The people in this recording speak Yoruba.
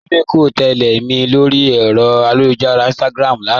Orirè kò tẹlẹ̀ mì lórí èrò ayélujára Instagram lánà